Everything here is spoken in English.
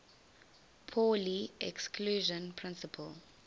pauli exclusion principle